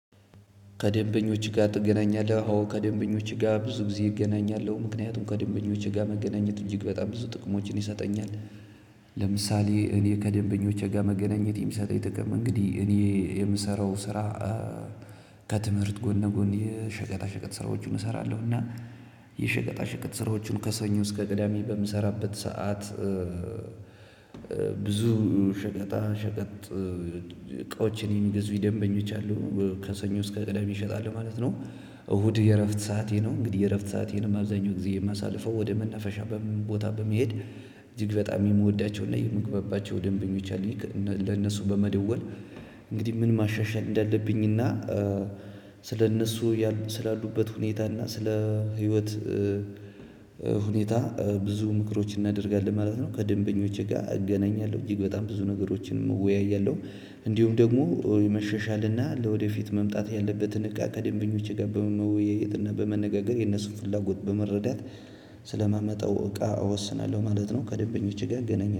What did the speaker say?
ከደንበኞች ጋር ትገናኛለህ አዎ ከደንበኞች ጋር ብዙ ጊዜ እገናኛለሁ ምክንያቱም ከደንበኞች ጋር መገናኘት እጅግ ብዙ ጥቅሞችን ይሰጠኛል። ለምሳሌ እኔ ከደንበኞቼ ጋር መገናኘት የሚሰጠኝ ጥቅም እንግዲህ እኔ የምሰራው ስራ አ ከትምህርት ጎን ለጎን የሸቀጣ ሸቀጥ ስራዎችም እሠራለሁእና የሸቀጣ ሸቀጥ ስራዎችን ከሰኞ እስከ ቅዳሜ በምሰራበት ሰዓት እ እ ብዙ ሸቀጣ ሸቀጥ እቃዎቼን የሚገዙኝ ደንበኞች አሉ እ ከሰኞ እስከ ቅዳሜ እሸጣለሁ ማለት ነው። እሁድ የእረፍት ሰዓቴ ነው። እንግዲህ የእረፍት ሰአቴንም አብዛኛው ጊዜ የማሳልፈው ወደ መናፈሻ ቦታ በመሄድ እጅግ በጣም የምወዳቸውና የምግባባቸው ደንበኞች አሉኝ። ለነሱ በመደወል እንግዲህ ምን ማሻሻል እንዳለብኝና እ ስለእነሱ ስላሉበት ሁኔታና ስለ ህይወት እ እ ሁኔታ እ ብዙ ምክሮችን እናደርጋለን ማለት ነው። ከደንበኞቼ ጋር እገናኛለሁ እጅግ በጣም ብዙ ነገሮችን እወያያለሁ። እንዲሁም ደግሞ እ የመሻሻልና ለወደፊት መምጣት ያለበትን እቃ ከደንበኞቼ ጋር በመወያየት እና በመነጋገር የነሱን ፍላጎት በመረዳት ስለማመጣው እቃ እወስናለሁ ማለት ነው። ከደንበኞቼ ጋር እገናኛለሁ